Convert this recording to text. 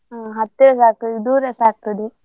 ಹತ್ತಿರಸ ಆಗ್ತದೆ ದೂರಸ ಆಗ್ತದೆ.